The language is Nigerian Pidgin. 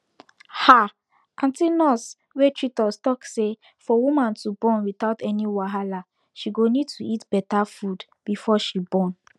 ahh aunty nurse wey treat us talk say for woman to born without any wahala she go need to eat better food before she born